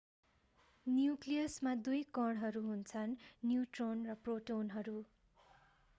न्यूक्लियसमा दुई कणहरू हुन्छन् न्यूट्रोन र प्रोटोनहरू